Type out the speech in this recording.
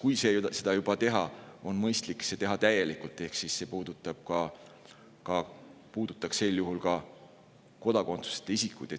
kui seda juba teha, siis on mõistlik seda teha täielikult, ehk see puudutaks sel juhul ka kodakondsuseta isikuid.